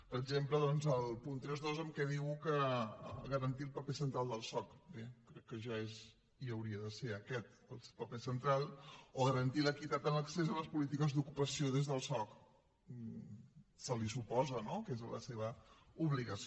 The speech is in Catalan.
per exemple doncs el punt trenta dos en què diu que garantir el paper central del soc bé crec que ja és i hauria de ser aquest paper central o garantir l’equitat en l’accés a les polítiques d’ocupació des del soc se li suposa no que és la seva obligació